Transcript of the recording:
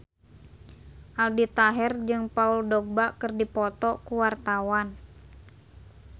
Aldi Taher jeung Paul Dogba keur dipoto ku wartawan